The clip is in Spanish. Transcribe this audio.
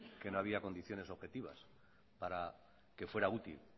que no había condiciones objetivas para que fuera útil